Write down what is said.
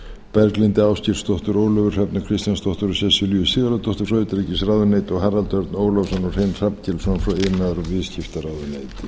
berglindi ásgeirsdóttur ólöfu hrefnu kristjánsdóttur og sesselju sigurðardóttur frá utanríkisráðuneyti og harald örn ólafsson og hrein